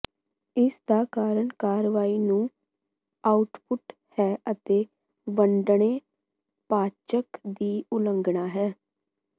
ਇਸ ਦਾ ਕਾਰਨ ਕਾਰਵਾਈ ਨੂੰ ਆਉਟਪੁੱਟ ਹੈ ਅਤੇ ਵੰਡਣੇ ਪਾਚਕ ਦੀ ਉਲੰਘਣਾ ਹੈ